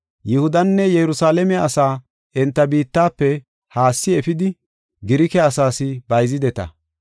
Yihudanne Yerusalaame asaa enta biittafe haassi efidi, Girike asaas bayzideta.